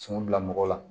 Cun bila mɔgɔ la